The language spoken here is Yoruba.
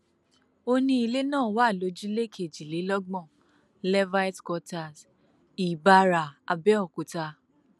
ó ní ilé náà wà lójúlé kejìlélọgbọn lehtive quarters ìbàrá abẹòkúta